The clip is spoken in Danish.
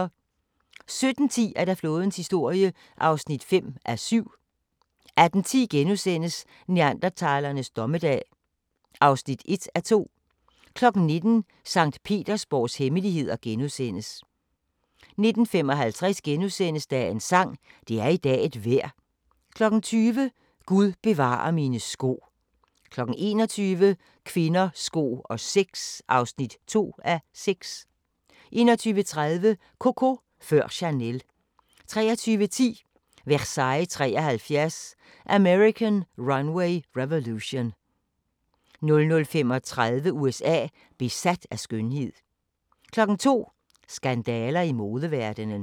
17:10: Flådens historie (5:7)* 18:10: Neandertalernes dommedag (1:2)* 19:00: Sankt Petersborgs hemmeligheder * 19:55: Dagens sang: Det er i dag et vejr * 20:00: Gud bevare mine sko 21:00: Kvinder, sko og sex (2:6) 21:30: Coco før Chanel 23:10: Versailles '73 – American Runway Revolution 00:35: USA: Besat af skønhed 02:00: Skandaler i modeverdenen